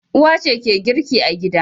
Uwa ce girki a gida.